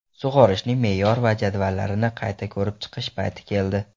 Sug‘orishning me’yor va jadvallarini qayta ko‘rib chiqish payti keldi.